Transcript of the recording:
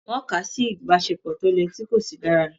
Wọn kà á sí ìbáṣepọ̀ tó lẹ̀ tí kò sì dára.